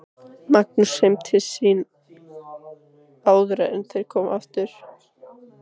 Magnúsi heim til sín áður en þeir komu aftur.